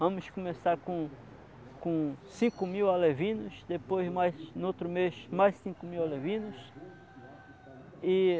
Vamos começar com, com cinco mil alevinos, depois mais, no outro mês, mais cinco mil alevinos.